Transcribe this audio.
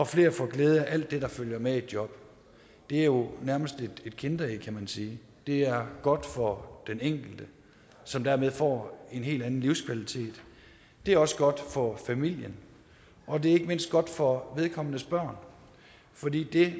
flere får glæde af alt det der følger med et job det er jo nærmest et kinderæg kan man sige det er godt for den enkelte som dermed får en helt anden livskvalitet det er også godt for familien og det er ikke mindst godt for vedkommendes børn for det det